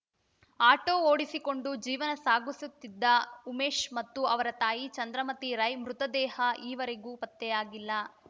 auto ಓಡಿಸಿಕೊಂಡು ಜೀವನ ಸಾಗುಸುತ್ತಿದ್ದ ಉಮೇಶ್‌ ಮತ್ತು ಅವರ ತಾಯಿ ಚಂದ್ರಮತಿ ರೈ ಮೃತದೇಹ ಈವರೆಗೂ ಪತ್ತೆಯಾಗಿಲ್ಲ